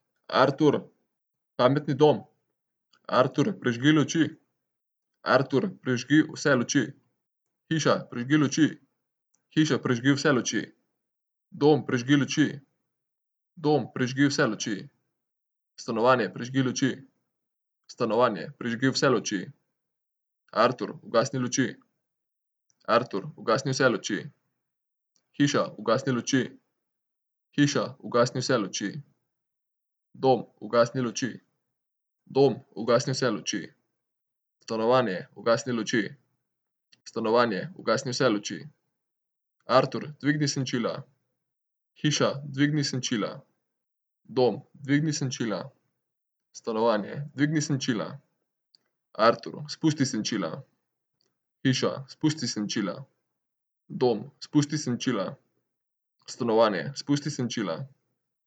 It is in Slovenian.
Artur. Pametni dom. Artur, prižgi luči. Artur, prižgi vse luči. Hiša, prižgi luči. Hiša, prižgi vse luči. Dom, prižgi luči. Dom, prižgi vse luči. Stanovanje, prižgi luči. Stanovanje, prižgi vse luči. Artur, ugasni luči. Artur, ugasni vse luči. Hiša, ugasni luči. Hiša, ugasni vse luči. Dom, ugasni luči. Dom, ugasni vse luči. Stanovanje, ugasni luči. Stanovanje, ugasni vse luči. Artur, dvigni senčila. Hiša, dvigni senčila. Dom, dvigni senčila. Stanovanje, dvigni senčila. Artur, spusti senčila. Hiša, spusti senčila. Dom, spusti senčila. Stanovanje, spusti senčila.